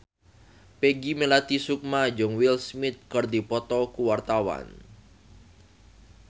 Peggy Melati Sukma jeung Will Smith keur dipoto ku wartawan